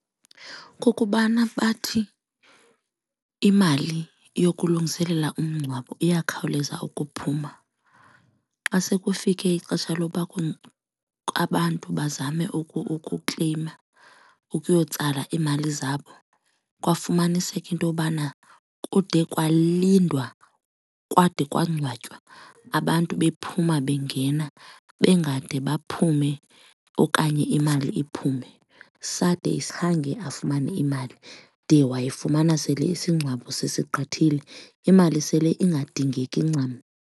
Kukubana bathi imali yokulungiselela umngcwabo iyakhawuleza ukuphuma. Xa sekufike ixesha loba abantu bazame ukukelyima, ukuyotsala iimali zabo, kwafumaniseka intobana kude kwalindwa kwade kwangcwatywa abantu bephuma bengena bangade baphume okanye imali iphume. Sade khange afumane imali de wayifumana sele isingcwabo sisigqithile, imali sele ingadingeki ncam.